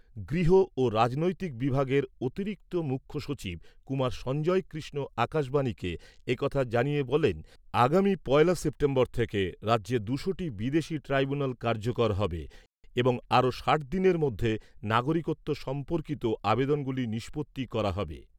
গৃহ ও রাজনৈতিক বিভাগের অতিরিক্ত মুখ্য সচিব কুমার সঞ্জয় কৃষ্ণ আকাশবাণীকে এ কথা জানিয়ে বলেন, আগামী পয়লা সেপ্টেম্বর থেকে রাজ্যে দুশোটি বিদেশী ট্রাইব্যুনেল কার্যকর হবে এবং আরও ষাট দিনের মধ্যে নাগরিকত্ব সম্পর্কিত আবেদনগুলি নিষ্পত্তি করা হবে।